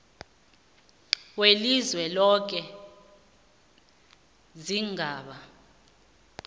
welizwe loke sigaba